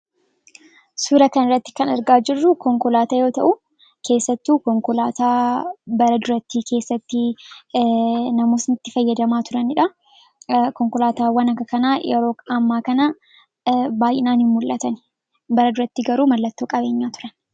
Suuraa kanarratti kan argaa jirru konkolaataa yoo ta'u, keessattuu konkolaataa bara durattii keessatti namootni itti fayyadamaa turaniidha. Konkolaataawwan akka kanaa yeroo ammaa kana baay'inaan hin mullatan. Bara duraatti garuu mallattoo qabeenyaa turan.